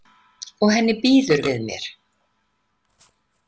Og henni býður við mér.